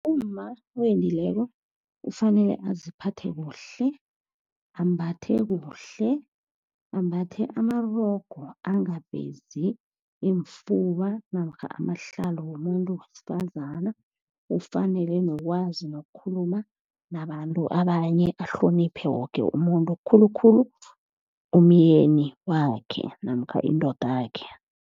Umma owendileko kufanele aziphathe kuhle, ambathe kuhle, ambathe amarogo, angavezi iimfuba namkha amahlalo womumuntu wesifazana, ufanele nokwazi nokukhuluma nabantu abanye. Ahloniphe woke umuntu, khulukhulu umyeni wakhe namkha indodakhe.